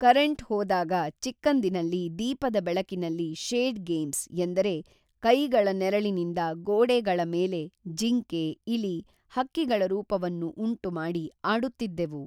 current ಹೋದಾಗ ಚಿಕ್ಕಂದಿನಲ್ಲಿ ದೀಪದ ಬೆಳಕಿನಲ್ಲಿ ಶೇಡ್‌ಗೇಮ್ಸ್, ಎಂದರೆ ಕೈಗಳ ನೆರಳಿನಿಂದ ಗೋಡೆಗಳಮೇಲೆ ಜಿಂಕೆ ಇಲಿ ಹಕ್ಕಿಗಳ ರೂಪವನ್ನು ಉಂಟು ಮಾಡಿ ಆಡುತ್ತಿದ್ದೆವು